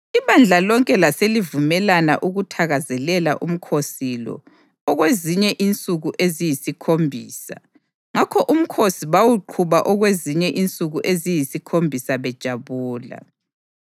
Ibandla lonke laselivumelana ukuthakazelela umkhosi lo okwezinye insuku eziyisikhombisa; ngakho umkhosi bawuqhuba okwezinye insuku eziyisikhombisa bejabula.